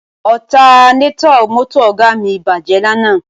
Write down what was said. Ọtanétọ̀ mọ́tò Ọ̀ga mi bàjẹ́ lánàá